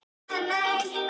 Árna Ý.